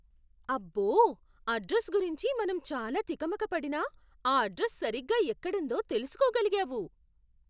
అబ్బో! అడ్రస్ గురించి మనం చాలా తికమక పడినా, ఆ అడ్రస్ సరిగ్గా ఎక్కుడుందో తెలుసుకోగలిగావు.